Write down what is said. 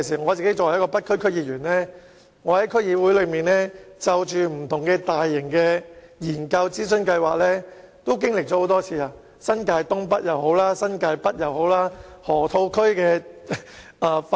我作為北區區議員，曾在區議會經歷多次不同的大型研究和諮詢計劃，包括新界東北、新界北和河套區發展。